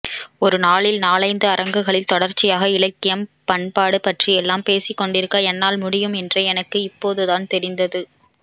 ஒருநாளில் நாலைந்து அரங்குகளில் தொடர்ச்சியாக இலக்கியம் பண்பாடு பற்றியெல்லாம் பேசிக்கொண்டிருக்க என்னால் முடியும் என்ரே எனக்கு இப்போதுதான் தெரிந்தது